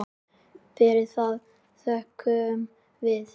Fyrir það þökkum við.